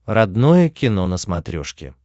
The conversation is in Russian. родное кино на смотрешке